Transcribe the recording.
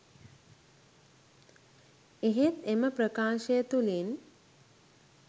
එහෙත් එම ප්‍රකාශය තුළින්